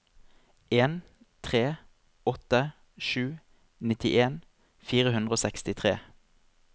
en tre åtte sju nittien fire hundre og sekstitre